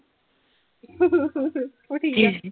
ਠੀਕ ਆ।